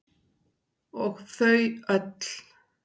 Og þau öll.